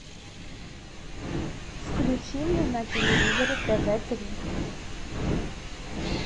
включи мне на телевизоре тв три